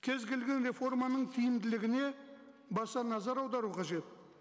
кез келген реформаның тиімділігіне баса назар аудару қажет